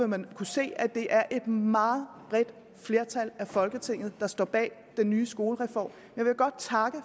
man kunne se at det er et meget bredt flertal i folketinget der står bag den nye skolereform jeg vil godt takke